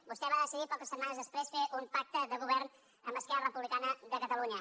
vostè va decidir poques setmanes després fer un pacte de govern amb esquerra republicana de catalunya